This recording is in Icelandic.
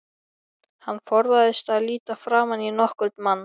Hann forðaðist að líta framan í nokkurn mann.